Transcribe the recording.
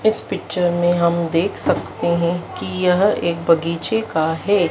इस पिक्चर में हम देख सकते हैं कि यह एक बगीचे का हैं।